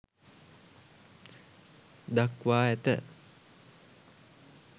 දක්වා ඇත.